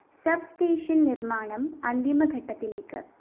sub station നിര്‍മ്മാണം അന്തിമ ഘട്ടത്തിലേക്ക്